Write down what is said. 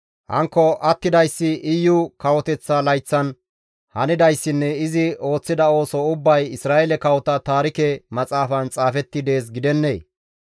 Hankko attidayssi Iyu kawoteththa layththan hanidayssinne izi ooththida ooso ubbay Isra7eele kawota taarike maxaafan xaafetti dees gidennee?